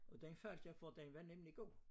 Og den faldt jeg for den var nemlig god